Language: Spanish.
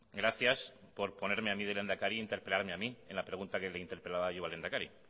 gracias por ponerme a mí de le hendakari y interpelarme a mí en la pregunta que le interpelaba yo al lehendakari